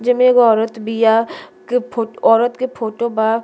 जेमे एगो औरत बिया। केफ औरत के फोटो बा।